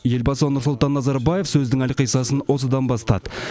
елбасы нұрсұлтан назарбаев сөздің әлқисасын осыдан бастады